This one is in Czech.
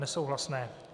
Nesouhlasné.